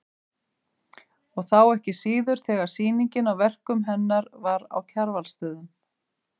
Og þá ekki síður þegar sýningin á verkum hennar var á Kjarvalsstöðum.